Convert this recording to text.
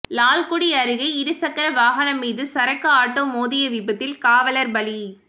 லால்குடி அருகே இருசக்கர வாகனம் மீது சரக்கு ஆட்டோ மோதிய விபத்தில் காவலர் பலி